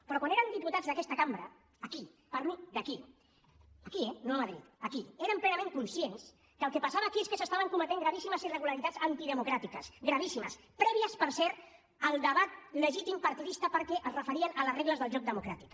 però quan eren diputats d’aquesta cambra aquí parlo d’aquí aquí eh no a madrid aquí eren plenament conscients que el que passava aquí és que s’estaven cometent gravíssimes irregularitats antidemocràtiques gravíssimes prèvies per cert al debat legítim partidista perquè es referien a les regles del joc democràtic